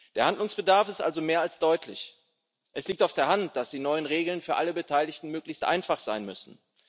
Der Handlungsbedarf ist also mehr als deutlich. Es liegt auf der Hand, dass die neuen Regeln für alle Beteiligten möglichst einfach sein müssen.